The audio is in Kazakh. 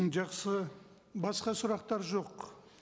жақсы басқа сұрақтар жоқ